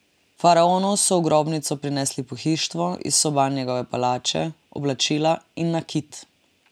Faraonu so v grobnico prinesli pohištvo iz soban njegove palače, oblačila in nakit.